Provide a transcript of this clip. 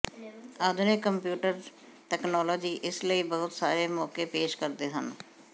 ਆਧੁਨਿਕ computer technology ਇਸ ਲਈ ਬਹੁਤ ਸਾਰੇ ਮੌਕੇ ਪੇਸ਼ ਕਰਦੇ ਹਨ